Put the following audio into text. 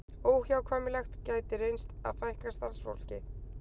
Óhjákvæmilegt gæti reynst að fækka starfsfólki